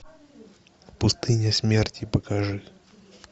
пустыня смерти покажи